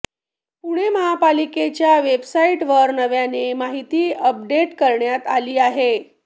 पुणे महापालिकेच्या वेबसाईटवर नव्याने माहिती अपडेट करण्यात आली आहे